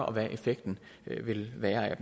og hvad effekten vil være af